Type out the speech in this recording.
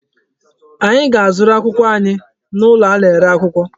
Anyị ga-azụrụ akwụkwọ anyị n'ụlọ a na-ere akwụkwọ.